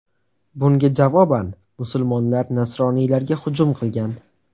Bunga javoban musulmonlar nasroniylarga hujum qilgan.